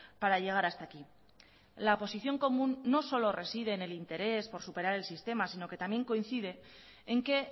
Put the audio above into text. para llegar hasta aquí la oposición común no solo reside en el interés por superar el sistema sino que también coincide en que